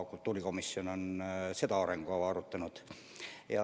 Kultuurikomisjon on seda arengukava arutanud.